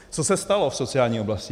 Co se stalo v sociální oblasti?